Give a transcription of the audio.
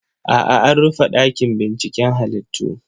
A'a, an rufe ɗakin binciken halittu.